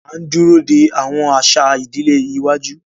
A n dúró de awọn aṣa ìdílé iwájú.